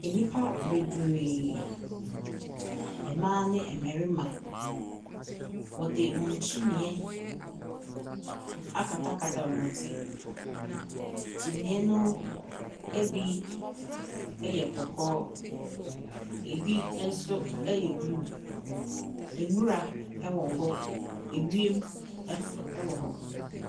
Nnipa bebree, mmaa ne mmarima wɔde wɔn kyinniiɛ akatakata wɔn ti. Kyinniiɛ no bi yɛ kɔkɔɔ, ebi nso yɛ blue. Nwira ɛwɔwɔ hɔ. ewiem nso wɔ hɔ.